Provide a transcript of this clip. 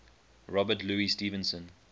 robert louis stevenson